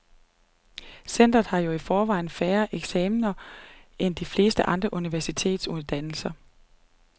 Centret har jo i forvejen færre eksaminer end de fleste andre universitetsuddannelser.